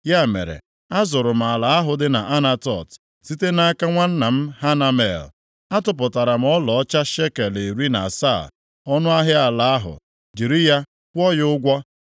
Ya mere, azụrụ m ala ahụ dị nʼAnatot site nʼaka nwanna m Hanamel. Atụpụtara m ọlaọcha shekel iri na asaa ọnụahịa ala ahụ, jiri ya kwụọ ya ụgwọ.